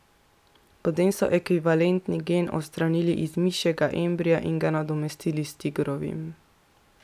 Potem so ekvivalentni gen odstranili iz mišjega embria in ga nadomestili s tigrovim.